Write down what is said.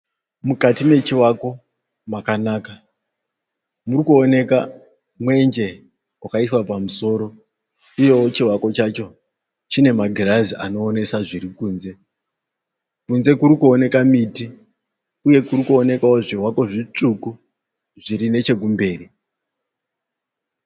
Mukati mechiwako makanaka. Murikuoneka mwenje wakaiswa pamusoro uyewo chiwako chacho chine magirazi anoonesa zviri kunze. Kunze kuri kuoneka miti uye kuri kuwonekwawo zviwako zvitsvuku zviri nechekumberi.